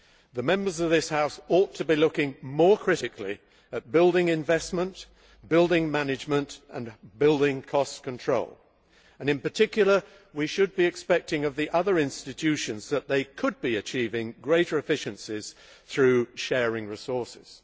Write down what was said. The members of this House ought to be looking more critically at building investment, building management and building cost control, and in particular we should expect the other institutions to be achieving greater efficiencies through sharing resources.